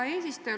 Hea eesistuja!